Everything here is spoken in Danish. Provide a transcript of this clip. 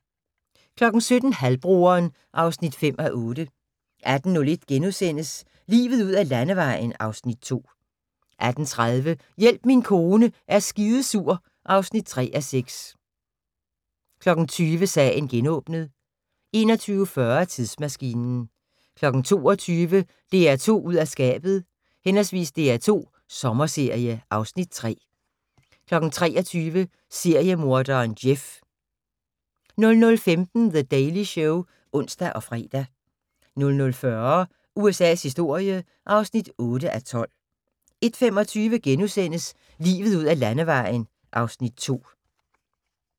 17:00: Halvbroderen (5:8) 18:01: Livet ud ad Landevejen (Afs. 2)* 18:30: Hjælp min kone er skidesur (3:6) 20:00: Sagen genåbnet 21:40: Tidsmaskinen 22:00: DR2 ud af skabet/ DR2 Sommerserie (Afs. 3) 23:00: Seriemorderen Jeff 00:15: The Daily Show (ons og fre) 00:40: USA's historie (8:12) 01:25: Livet ud ad Landevejen (Afs. 2)*